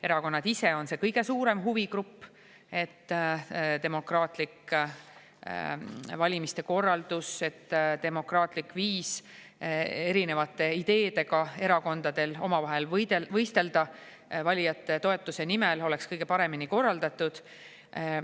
Erakonnad ise on see kõige suurem huvigrupp, et demokraatlik valimiste korraldus, et demokraatlik viis erinevate ideedega erakondadel omavahel võistelda valijate toetuse nimel oleks kõige paremini korraldatud.